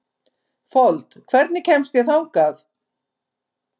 Fold, hvernig kemst ég þangað?